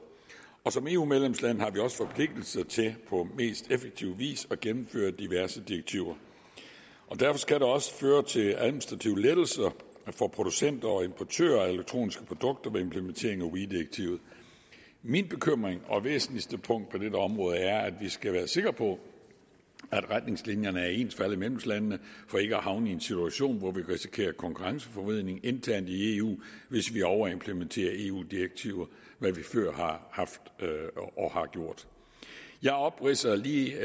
som eu medlemsland har vi også forpligtelse til på mest effektiv vis at gennemføre diverse direktiver derfor skal det også føre til administrative lettelser for producenter og importører af elektroniske produkter med implementeringen af weee direktivet min bekymring og mit væsentligste punkt på dette område er at vi skal være sikre på at retningslinjerne er ens for alle medlemslandene for ikke at havne i en situation hvor vi kan risikere konkurrenceforvridning internt i eu hvis vi overimplementerer eu direktiver hvad vi før har gjort jeg opridser lige